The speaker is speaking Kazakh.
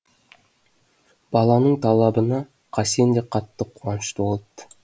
баланың талабына қасен де қатты қуанышты болыпты